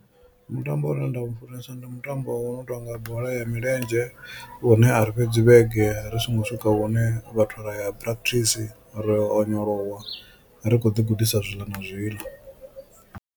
Mutambo une nda u funesa ndi mutambo wo no tonga bola ya milenzhe une ari fhedzi vhege ri songo swika hune vhathu ra ya practice ra yo onyolowa ri kho ḓi gudisa zwiḽa na zwiḽa.